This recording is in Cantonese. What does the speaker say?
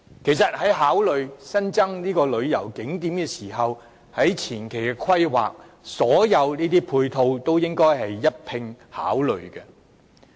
其實在考慮增加旅遊景點時，所有配套也應該在前期的規劃中一併考慮。